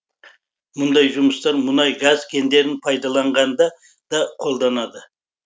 мұндай жұмыстар мұнай газ кендерін пайдаланғанда да қолданады